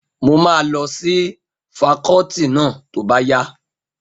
Mo máa lọ sí fakọ́ọ́tì náà tó bá yá.